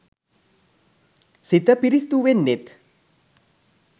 සිත පිරිසිදු වෙන්නෙත්